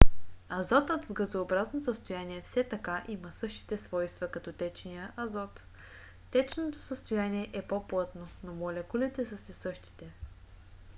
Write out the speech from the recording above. азотът в газообразно състояние все така има същите свойства като течния азот. течното състояние е по - плътно но молекулите са си същите